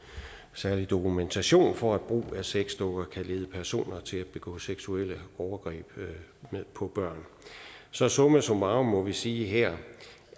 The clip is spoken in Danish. særlig dokumentation for at brug af sexdukker kan lede personer til at begå seksuelle overgreb på børn så summa summarum må vi sige her